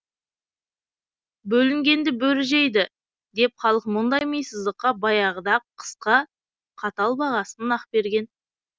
бөлінгенді бөрі жейді деп халық мұндай мисыздыққа баяғыда ақ қысқа қатал бағасын нақ берген